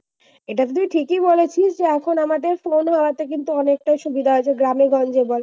এটা তুই ঠিকই বলেছিস যে এখন আমাদের phone হওয়া তে কিন্তু অনেকটা সুবিধা আছে গ্রামে-গঞ্জে বল